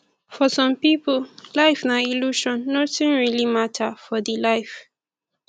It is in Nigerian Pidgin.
for some pipo life na illusion nothing really matter for di life